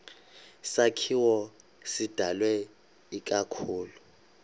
sakhiwo sidalwe ikakhulu